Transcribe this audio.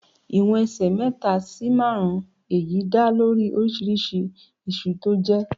Ìwọ̀n ẹsẹ̀ mẹ́ta sì márùn-ún, èyí dá lórí oríṣiríṣi iṣu tí ó jé.